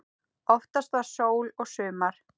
Oftast var sól og sumar.